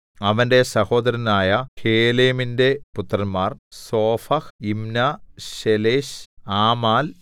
അവന്റെ സഹോദരനായ ഹേലെമിന്റെ പുത്രന്മാർ സോഫഹ് യിമ്നാ ശേലെശ് ആമാൽ